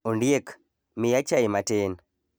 Ondiek, miya chai matin.